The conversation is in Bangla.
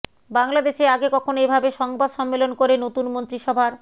বাংলাদেশে আগে কখনো এভাবে সংবাদ সম্মেলন করে নতুন মন্ত্রিসভার